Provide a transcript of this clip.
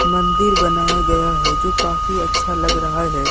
मंदिर बनाया गया है जो काफी अच्छा लग रहा है।